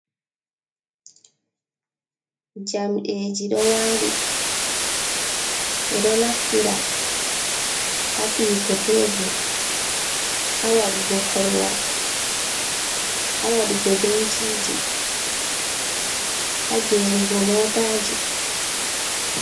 Jamdeji ɗo wali, ɓeɗo naftira ha figo tebor, ha waɗugo korwal, ha waɗugo benciji, ha gerugo motaji.